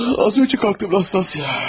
Az önce kalktım Nastasya.